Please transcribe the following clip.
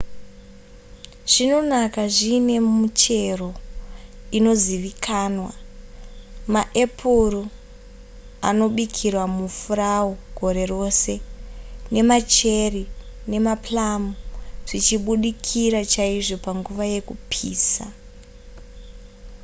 zvinonaka zvine michero inozivikanwa nemaepuru anobikirwa mufurawu gore rose nemacheri nemaplum zvichibudikira chaizvo panguva yekupisa